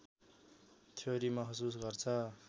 theory महसुस गर्छ